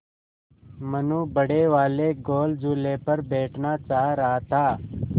मनु बड़े वाले गोल झूले पर बैठना चाह रहा था